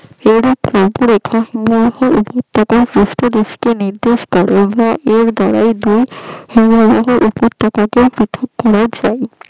নিরদেশ করে